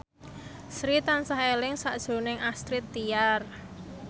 Sri tansah eling sakjroning Astrid Tiar